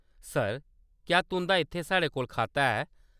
Sir, क्या तुंʼदा इत्थै साढ़े कोल खाता ऐ ?